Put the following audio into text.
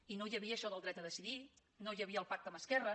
i no hi havia això del dret a decidir no hi havia el pacte amb esquerra